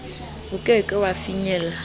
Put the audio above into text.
o ke ke wa finyella